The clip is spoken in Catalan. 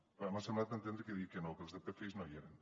ah m’ha semblat entendre que deia que no que els de pfis no hi eren